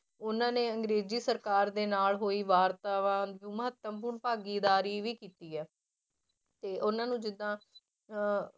ਉਹਨਾਂ ਨੇ ਅੰਗਰੇਜੀ ਸਰਕਾਰ ਦੇ ਨਾਲ ਹੋਈ ਵਾਰਤਾਵਾਰ ਨੂੰ ਮਹੱਤਵਪੂਰਨ ਭਾਗੀਦਾਰੀ ਵੀ ਕੀਤੀ ਹੈ ਤੇ ਉਹਨਾਂ ਨੂੰ ਜਿੱਦਾਂ ਅਹ